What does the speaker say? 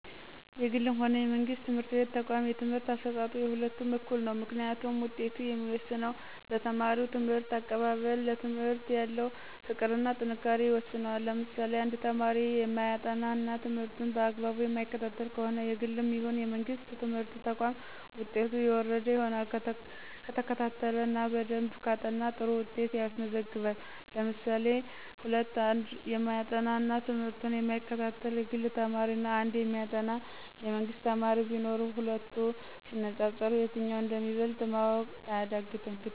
የግልም ሆነ የመንግስት ትምህርት ተቋም የትምህርት አሰጣጡ የሁለቱም እኩል ነው። ምክንያቱም ውጤቱ የሚወሰነው በተማሪው ትምህርት አቀባበል፣ ለትምህርት ያለው ፍቅር እና ጥንካሬ ይወስነዋል። ለምሳሌ1፦ አንድ ተማሪ የማያጠና እና ትምህርቱን በአግባቡ የማይከታተል ከሆነ የግልም ይሁን የመንግስት ትምህርት ተቋም ውጤቱ የወረደ ይሆናል። ከተከታተለ እና በደንብ ካጠና ጥሩ ውጤት ያስመዘግባል። ለምሳሌ 2፦ አንድ የማያጠና እና ትምህርቱን የማይከታተል የግል ተማሪ እና አንድ የሚያጠና የመንግስት ተማሪ ቢኖሩ ሂለቱ ሲነፃፀሩ የትኛው እንደሚበልጥ ማወቅ አያዳግትም።